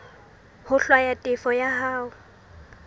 ho hlwaya tefo ya hao